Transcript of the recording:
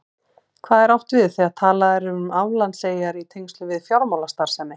Hvað er átt við þegar talað er um aflandseyjar í tengslum við fjármálastarfsemi?